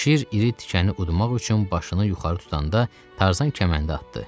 Şir iri tikəni udmaq üçün başını yuxarı tutanda Tarzan kəməndi atdı.